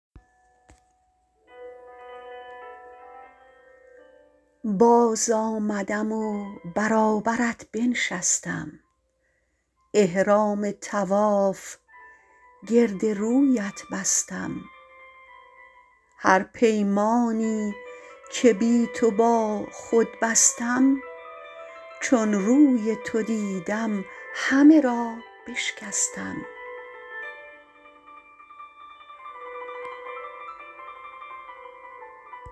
باز آمدم و برابرت بنشستم احرام طواف گرد رویت بستم هر پیمانی که بی تو با خود بستم چون روی تو دیدم همه را بشکستم